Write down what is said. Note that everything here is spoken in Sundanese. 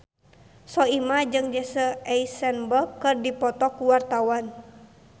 Soimah jeung Jesse Eisenberg keur dipoto ku wartawan